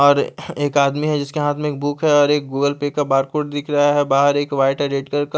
और एक आदमी है जिसके हाथ में एक बुक है और गूगल पे का बारकोड दिखरा है बाहर एक वाइट एडिटर --